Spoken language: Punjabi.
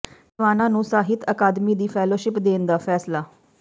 ਟਿਵਾਣਾ ਨੂੰ ਸਾਹਿਤ ਅਕਾਦਮੀ ਦੀ ਫੈਲੋਸ਼ਿਪ ਦੇਣ ਦਾ ਫੈਸਲਾ